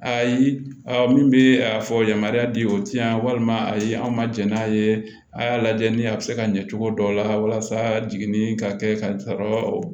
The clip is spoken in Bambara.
Ayi a min bɛ a fɔ yamaruya di o ti yan walima a ye anw ma jɛn n'a ye a y'a lajɛ ni a bɛ se ka ɲɛ cogo dɔw la walasa jiginni ka kɛ ka sɔrɔ